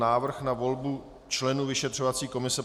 Návrh na volbu členů vyšetřovací komise